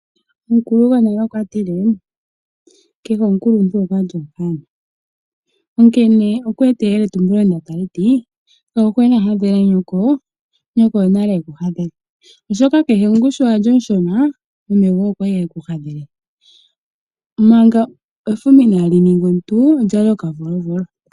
Omukulu gwonale okwa tile: " kehe omukuluntu okwali okanona" onkene okwa eta eyeletumbulo ndono tali ti: "kayuhwena hadhela nyoko, nyoko onale e ku hadhele" oshoka kehe omuntu sho wali omushona meme goye okwali hekuhadhele. Manga efuma inaali ninga enene olyali okavolovolo.